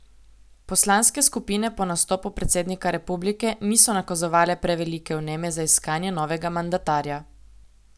Poslanske skupine po nastopu predsednika republike niso nakazovale prevelike vneme za iskanje novega mandatarja.